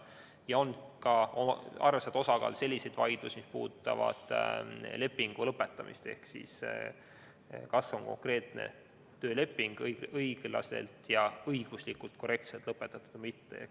Ja on ka arvestatav osa selliseid vaidlusi, mis puudutavad lepingu lõpetamist ehk seda, kas konkreetne tööleping on õiglaselt ja õiguslikult korrektselt lõpetatud või mitte.